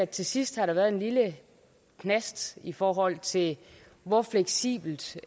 til sidst har været en lille knast i forhold til hvor fleksibelt